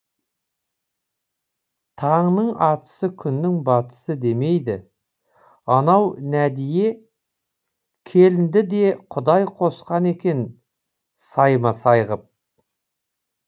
таңның атысы күннің батысы демейді анау нәдие келінді де құдай қосқан екен сайма сай ғып